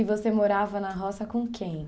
E você morava na Roça com quem?